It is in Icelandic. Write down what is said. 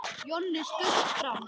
Jonni skaust fram.